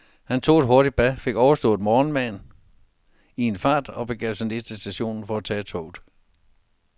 Han tog et hurtigt bad, fik overstået morgenmaden i en fart og begav sig ned til stationen for at tage toget.